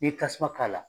N'i ye tasuma k'a la